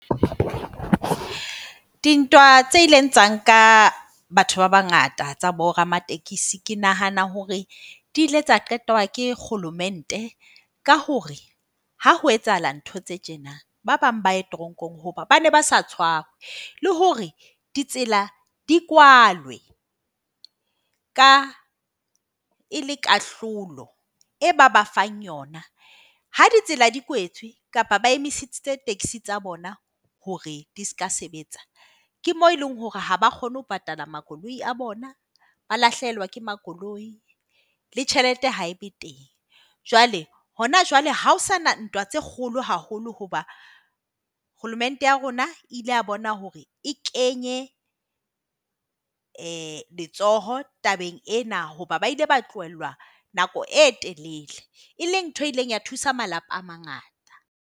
Dintwa tse ileng tsa nka batho ba bangata tsa boramatekesi, ke nahana hore di ile tsa qetwa ke kgolomente. Ka hore ha ho etsahala ntho tse tjena ba bang ba ya teronkong hobane ba sa tshware le hore ditsela di kwalwe. Ka e le kahlolo e ba ba fang yona. Ha ditsela di kwetswe kapa ba emisitse taxi tsa bona hore di seka sebetsa, ke moo e leng hore ha ba kgone ho patala makoloi a bona. Ba lahlehelwa ke makoloi le tjhelete ha e be teng. Jwale hona jwale ha ho sana ntwa tse kgolo haholo hoba kgolomente ya rona ile ya bona hore e kenye letsoho tabeng ena hoba ba ile ba tlohellwa nako e telele. E leng ntho e ileng ya thusa malapa a mangata.